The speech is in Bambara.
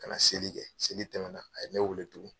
Ka na seli kɛ seli tɛmɛna a ye ne weele tugun.